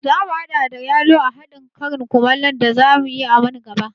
Zamu haɗa da yalo a haɗin karin kumallon da zamu yi a man gaba